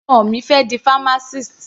Ọmọ mi fẹ́ di pharmacist.